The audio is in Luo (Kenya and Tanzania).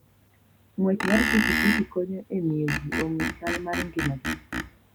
Ng'wech mar pikipiki konyo e miyo ji ong'e chal mar ngimagi.